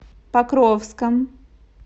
покровском